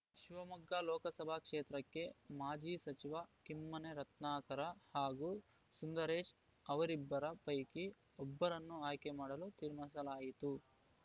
ಶಿವಮೊಗ್ಗ ಲೋಕಸಭಾ ಕ್ಷೇತ್ರಕ್ಕೆ ಮಾಜಿ ಸಚಿವ ಕಿಮ್ಮನೆ ರತ್ನಾಕರ ಹಾಗೂ ಸುಂದರೇಶ್‌ ಅವರಿಬ್ಬರ ಪೈಕಿ ಒಬ್ಬರನ್ನು ಆಯ್ಕೆ ಮಾಡಲು ತೀರ್ಮಾನಿಸಲಾಯಿತು